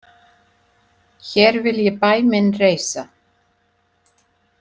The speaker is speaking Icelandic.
Hér vil ég bæ minn reisa.